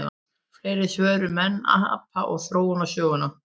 Fleiri svör um menn, apa og þróunarsöguna: